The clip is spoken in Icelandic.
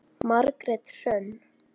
Margrét Hrönn.